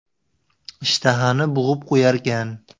Ishtahani bo‘g‘ib qo‘yarkan.